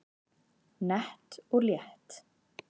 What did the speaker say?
Nett og létt